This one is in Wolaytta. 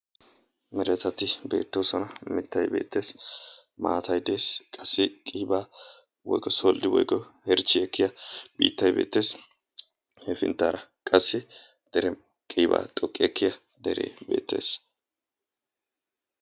meretati beettoosana mittay beetteesi maatay dees qassi qiibaa woykko solddi woykko herchchi ekkiya biittay beetteesi hefinttaara qassi dere qiibaa xoqqi ekkiya dere beettees